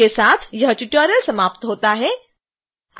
इसके साथ ही यह ट्यूटोरियल समाप्त होता है